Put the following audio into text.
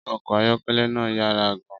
Ọkọ̀ ayọ́kẹ́lẹ́ náà yára gan-an.